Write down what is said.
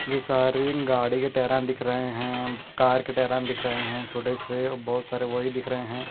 ये सारिग गाड़ी के टायरान दिख रहे हैं कार के टायरान दिख रहे हैं छोटे से और बहुत सारे वही दिख रहे हैं।